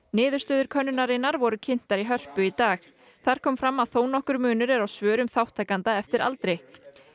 niðurstöður könnunarinnar voru kynntar í Hörpu í dag þar kom fram að þó nokkur munur er á svörum þátttakenda eftir aldri